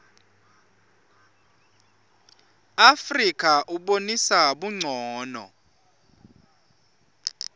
afrika ubonisa buncono